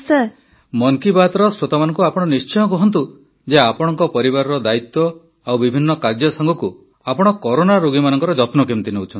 ମନ୍ କି ବାତ୍ର ଶ୍ରେତୋମାନଙ୍କୁ ଆପଣ ନିଶ୍ଚୟ କୁହନ୍ତୁ ଯେ ଆପଣଙ୍କ ପରିବାରର ଦାୟିତ୍ୱ ଓ ବିଭିନ୍ନ କାର୍ଯ୍ୟ ସାଙ୍ଗକୁ ଆପଣ କରୋନା ରୋଗୀମାନଙ୍କର ମଧ୍ୟ ଯତ୍ନ ନେଉଛନ୍ତି